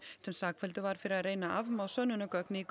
sem sakfelldur var fyrir að reyna aðfmá sönnunargögn í